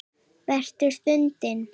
Versta stundin?